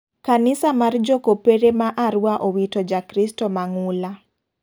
Kanisa mar jo kopere ma Arua owito ja kristo ma ng'ula.